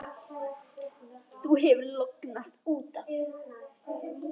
Þú hefur lognast út af!